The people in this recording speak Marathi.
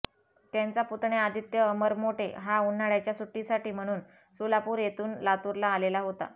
त्यांचा पुतण्या आदित्य अमर मोटे हा उन्हाळ्याच्या सुट्टीसाठी म्हणून सोलापूर येथून लातूरला आलेला होता